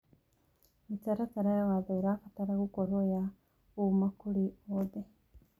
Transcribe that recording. Mĩtaratara ya watho ĩrabatara gũkorwo ya ũma kũrĩ othe.